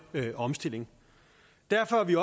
omstilling derfor er vi